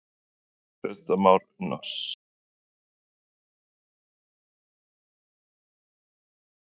Kristján Már Unnarsson: Má ekki segja að litlu verður Vöggur feginn?